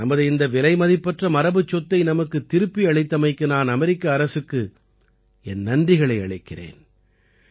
நமது இந்த விலைமதிப்பற்ற மரபுச்சொத்தை நமக்குத் திருப்பியளித்தமைக்கு நான் அமெரிக்க அரசுக்கு என் நன்றிகளை அளிக்கிறேன்